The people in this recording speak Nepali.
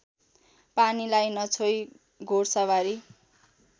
पानीलाई नछोई घोडसवारी